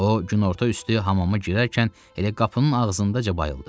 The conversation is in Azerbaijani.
O, günorta üstü hamama girərkən elə qapının ağzındaca bayıldı.